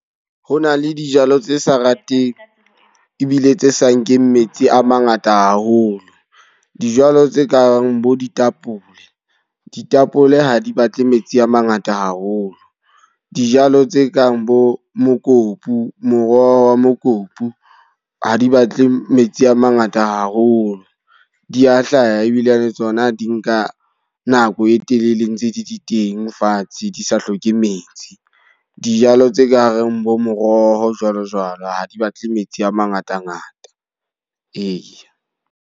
Ho na le dijalo tse sa rateng ebile tse sa nkeng metsi a mangata haholo. Dijalo tse kang bo ditapole. Ditapole ha di batle metsi a mangata haholo. Dijalo tse kang bo mokopu, moroho wa mokopu. Ha di batle metsi a mangata haholo, di a hlaha ebilane tsona di nka nako e telele ntse di di teng fatshe, di sa hloke metsi. Dijalo tse ka reng bo moroho jwalo jwalo, ha di batle metsi a mangatangata. Eya.